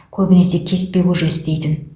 көбінесе кеспе көже істейтін